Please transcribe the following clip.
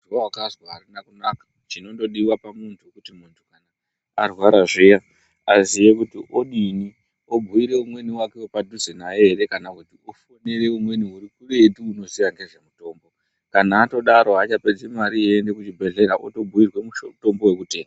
Zvawakazwa arina kunaka chinodiwa kuziya kuti muntu kuti odii obhuira muntu wepadhuze naye here kana ofonere umweni uri kuretu unoziya ngezvemutombo kana atodaro haachapedzi mari eienda kuchibhedhleya otobhuirwa mutombo wekutenga.